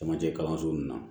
Camancɛ kalanso nunnu na